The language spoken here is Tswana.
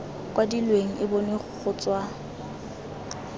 kwadilweng e bonwe go tswa